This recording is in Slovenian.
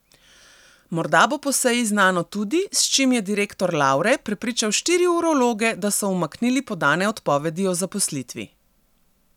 Morda bo po seji znano tudi, s čim je direktor Lavre prepričal štiri urologe, da so umaknili podane odpovedi o zaposlitvi.